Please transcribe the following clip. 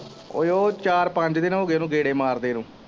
ਓੁਹ ਓਹ ਚਾਰ ਪੰਜ ਦਿਨ ਹੋਗੇ ਉਨੂੰ ਗੇੜੇ ਮਾਰਦੇ ਨੂੰ।